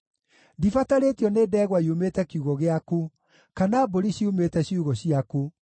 Ndibatarĩtio nĩ ndegwa yumĩte kiugũ gĩaku, kana mbũri ciumĩte ciugũ ciaku,